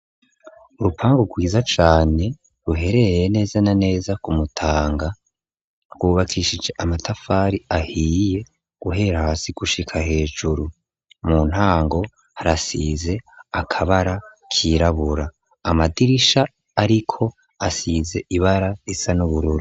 Urupangu rwiza cane ruherereye neza na neza ku Mutanga, rwubakishije amatafari ahiye guhera hasi gushika hejuru, mu ntango harasize akabara kirabura, amadirisha ariko asize ibara risa n'ubururu.